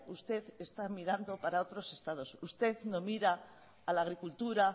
usted está mirando para otros estados usted no mira a la agricultura